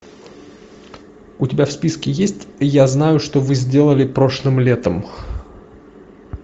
у тебя в списке есть я знаю что вы сделали прошлым летом